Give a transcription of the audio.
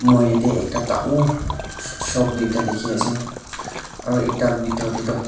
moi yatae ekta dangor shop tuita dikhiase aru ekta bitor tae toh.